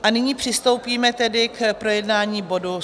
A nyní přistoupíme tedy k projednání bodu